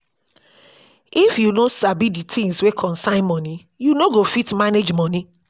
if yu no sabi di things wey concern moni yu no go fit manage moni